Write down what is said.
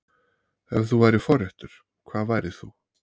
Ef þú værir forréttur, hvað værir þú?